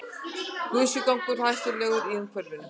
Gusugangur hættulegur í umferðinni